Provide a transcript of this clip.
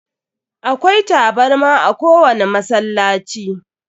Akwai tabarma a ko wani masallaci.